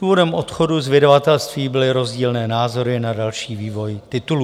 Důvodem odchodu z vydavatelství byly rozdílné názory na další vývoj titulů.